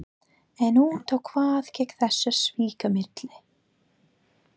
En út á hvað gekk þessi svikamylla?